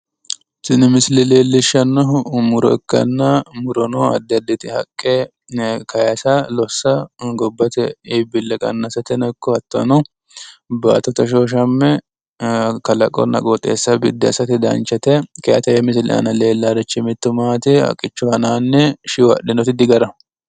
Tini misile leelishshannohu muro ikkanna tini murono addi haqqe kayisatenni gobbate iibbillenna baattote hoshooshamme ajishshanno. tenne haqqera iimaanni higge hadhino Shiwo hoola hasiissanno.